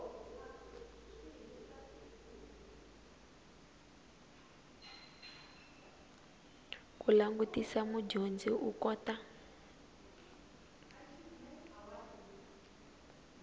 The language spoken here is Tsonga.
ku langutisa mudyondzi u kota